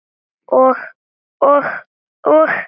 Og, og, og.